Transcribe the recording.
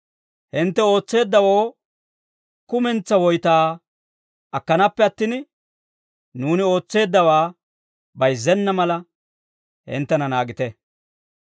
Hintte ootseeddawoo kumentsaa woytaa akkanaappe attin, nuuni ootseeddawaa bayizzenna mala, hinttena naagite.